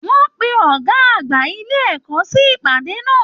Wọn pe ọgá àgbà ilé ẹ̀kọ́ sí ìpàdé náà.